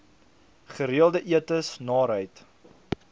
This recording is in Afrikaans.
gereelde etes naarheid